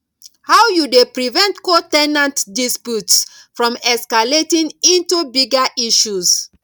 how you dey prevent co ten ant disputes from escalating into bigger issues